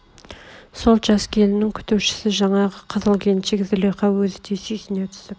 сол жас келіннің күтушісі жаңағы қызыл келіншек злиха өзі де сүйсне түсіп